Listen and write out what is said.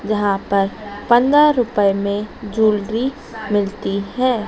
जहां पर पंद्रह रूपये में जूलरी मिलती है।